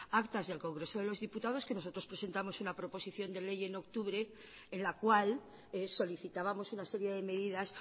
actas del congreso de los diputados que nosotros presentamos una proposición de ley en octubre en la cual solicitábamos una serie de medidas